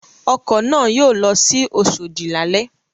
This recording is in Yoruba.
Ọkọ̀ náà yóò lọ sí Oṣòdì lálẹ́.